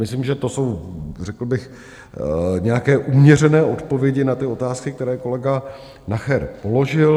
Myslím, že to jsou, řekl bych, nějaké uměřené odpovědi na ty otázky, které kolega Nacher položil.